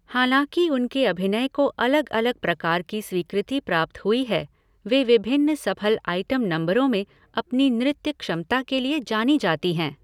हालाँकि उनके अभिनय को अलग अलग प्रकार की स्वीकृति प्राप्त हुई है, वे विभिन्न सफल आइटम नंबरों में अपनी नृत्य क्षमता के लिए जानी जाती हैं।